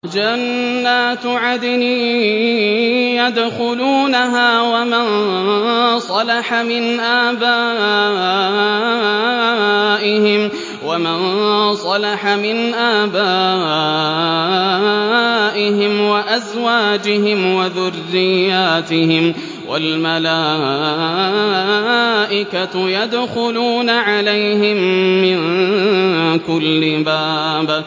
جَنَّاتُ عَدْنٍ يَدْخُلُونَهَا وَمَن صَلَحَ مِنْ آبَائِهِمْ وَأَزْوَاجِهِمْ وَذُرِّيَّاتِهِمْ ۖ وَالْمَلَائِكَةُ يَدْخُلُونَ عَلَيْهِم مِّن كُلِّ بَابٍ